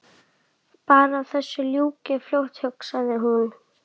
Bara að þessu ljúki fljótt hugsaði hún.